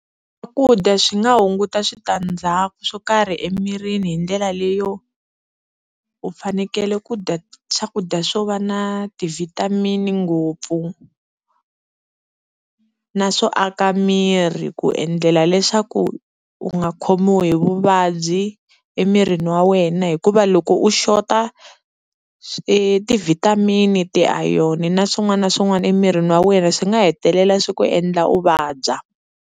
Swakudya swi nga hunguta switandzhaku swo karhi emirini hi ndlela leyo u fanekele ku dya swakudya swo va na ti-vitamin-i ngopfu, na swo aka miri ku endlela leswaku u nga khomiwi hi vuvabyi emirini wa wena hikuva loko u xota ti-vitamin-i, ti-iron na swin'wana na swin'wana emirini wa wena swi nga hetelela swi ku endla u vabya.